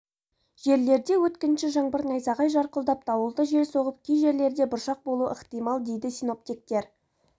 жерлерде өткінші жаңбыр найзағай жарқылдап дауылды жел соғып кей жерлерде бұршақ болуы ықтимал деді синоптиктер